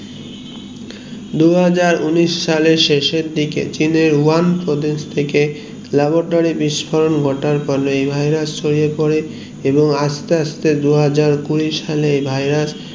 দুহাজার উনিশ সালে শেষের দিকে চীনের ওয়াং প্রদেশ থেকে laboratory বিস্ফোরণ ঘটার কারণে এই virus ছড়িয়ে পরে আস্তে আস্তে দু হাজার কুড়ি সালে